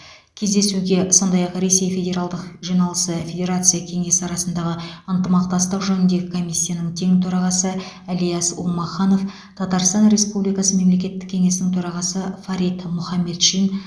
кездесуге сондай ақ ресей федералдық жиналысы федерация кеңесі арасындағы ынтымақтастық жөніндегі комиссияның тең төрағасы ильяс умаханов татарстан республикасы мемлекеттік кеңесінің төрағасы фарид мұхаметшин